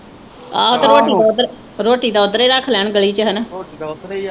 ਆਹੋ ਤੇ ਰੋਟੀ ਦਾ ਉਧਰ ਰੋਟੀ ਦਾ ਉਧਰੇ ਰੱਖ ਲੈਣ ਗਲੀ ਵਿਚ ਹਣਾ